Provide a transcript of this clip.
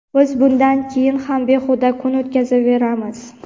biz bundan keyin ham behuda kun o‘tkazaveramiz.